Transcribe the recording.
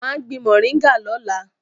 Mà á gbin mọ̀ríngà lọ́la